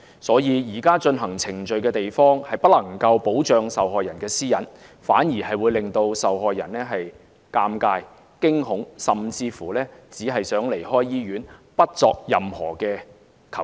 所以，現時進行程序的地方，不能夠保障受害人的私隱，反而會令受害人尷尬、驚恐，甚至只想離開醫院，不作任何求助。